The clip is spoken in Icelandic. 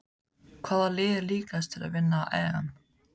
Hvaða lið er líklegast til að vinna EM?